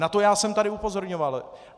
Na to já jsem tady upozorňoval.